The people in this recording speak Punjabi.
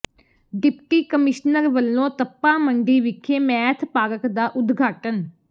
ਡਿਪਟੀ ਕਮਿਸ਼ਨਰ ਵਲੋਂ ਤਪਾ ਮੰਡੀ ਵਿਖੇ ਮੈਥ ਪਾਰਕ ਦਾ ਉਦਘਾਟਨ